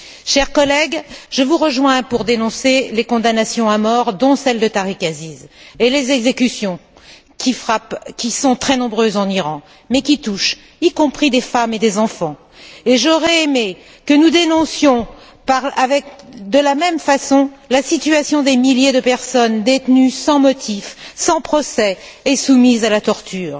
Chers collègues, je vous rejoins pour dénoncer les condamnations à mort, dont celle de Tarek Aziz, et les exécutions qui sont très nombreuses en Iraq mais qui touchent y compris des femmes et des enfants, et j'aurais aimé que nous dénoncions de la même façon la situation des milliers de personnes détenues sans motif, sans procès et soumises à la torture.